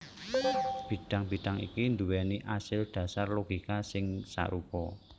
Bidang bidang iki nduwèni asil dhasar logika sing sarupa